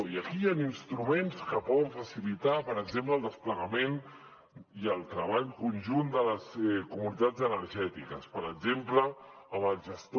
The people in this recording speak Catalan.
i aquí hi han instruments que poden facilitar per exemple el desplegament i el treball conjunt de les comunitats energètiques per exemple amb el gestor